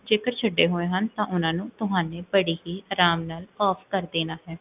ਜੇਕਰ ਛੱਡੇ ਹੋਏ ਹਨ, ਤਾਂ ਓਨਾ ਨੂੰ, ਤੁਹਾਨੇ ਬੜੀ ਆਰਾਮ ਨਾਲ off ਕ੍ਰ੍ਦੇਨਾ ਹੈ